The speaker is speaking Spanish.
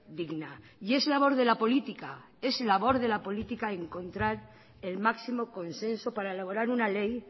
digna y es labor de la política es labor de la política encontrar el máximo consenso para elaborar una ley